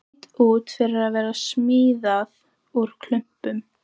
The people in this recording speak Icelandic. Leit út fyrir að vera smíðað úr klumpum.